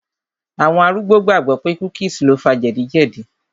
Àwọn arúgbó gbàgbọ̀ pé cookies lo fa jẹ̀díjẹ̀dí